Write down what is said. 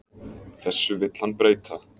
Þessu vill hann breyta.